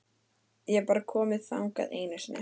Ég hef bara komið þangað einu sinni.